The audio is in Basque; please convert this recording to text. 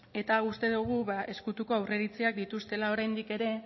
eta uste dugu ezkutuko aurreiritziak dituztela oraindik ere